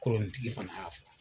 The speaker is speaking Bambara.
Kolonitigi fana y'a fɔ.